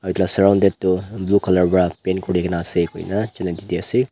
aru edu la surrounded toh blue colour wra paint kurikaena ase koina janai didiase.